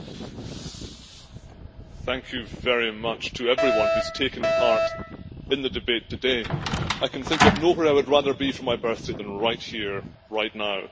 Madam President, thank you very much to everyone who has taken part in the debate today. I can think of nowhere I would rather be for my birthday than right here, right now.